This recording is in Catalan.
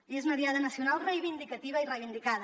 i és una diada nacional reivindicativa i reivindicada